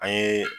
An ye